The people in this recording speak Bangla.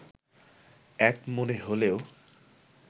এক মনে হলেও